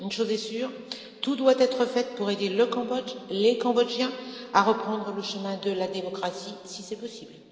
Une chose est sûre tout doit être fait pour aider le Cambodge et les Cambodgiens à reprendre le chemin de la démocratie, si c'est possible.